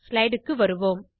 slideக்குத் வருவோம்